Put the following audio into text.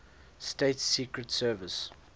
states secret service